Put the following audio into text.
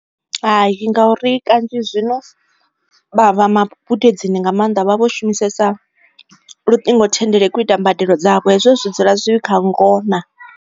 Hai ngauri kanzhi zwino vha vha magudedzini nga maanḓa vha vho shumisesa luṱingothendeleki u ita mbadelo dzavho hezwo zwi dzula zwi kha ngona.